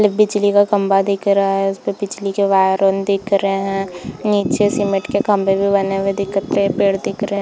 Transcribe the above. बिजली का खम्भा दिख रहा है उसपे बिजली के वायर ऑन दिख रहे है नीचे सीमेंट के खम्भे भी बने हुए दिख रहे है पेड़ दिख रहे है।